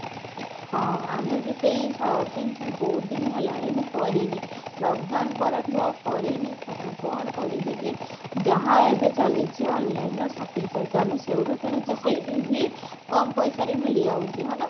ହଁ ଆମେ ବି ସେଈ shopping ବହୁତ ଦିନ ହେଲାଣି ମୁଁ କରିନି lock down ପରଠୁ ଆଉ କରିନି shopping କଣ କରିବି ଯେ ଯାହା ଏବେ ଚାଲିଛି online ର shopping ଚାଲିଛି ଆମେ ସେଈଠୁ କିଣିଚୁ ସେଈଠି ହିଁ କମ ପଇସାରେ ମିଲିଯାଉଛି ହଁ ନା?